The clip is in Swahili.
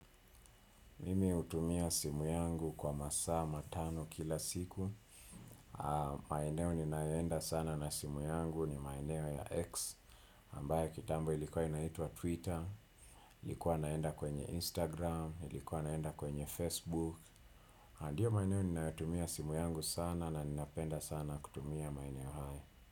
Mimi hutumia simu yangu kwa masaa matano kila siku. Maeneo ninayoenda sana na simu yangu ni maeneo ya X. Ambaya kitambo ilikuwa inaitwa Twitter. Nilikuwa naenda kwenye Instagram. Nilikuwa naenda kwenye Facebook. Ndiyo maeneo ninayotumia simu yangu sana na ninapenda sana kutumia maeneo haya.